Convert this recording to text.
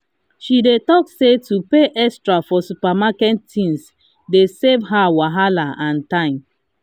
she dey talk say to pay extra for supermarket things dey save her wahala and time.